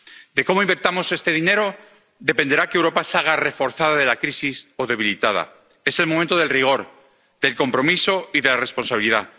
De cómo invirtamos este dinero dependerá que Europa salga reforzada de la crisis o debilitada. Es el momento del rigor, del compromiso y de la responsabilidad.